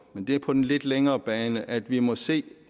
men det er på den lidt længere bane at vi må se